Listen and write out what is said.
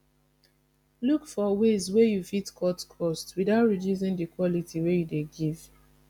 look for ways wey you fit cut cost without reducing di quality wey you dey give